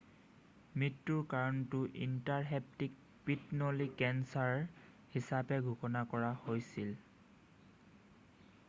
মৃত্যুৰ কাৰণটো ইনট্ৰাহেপ্টিক পিত্তনলী কেঞ্চাৰ হিচাপে ঘোষণা কৰা হৈছিল৷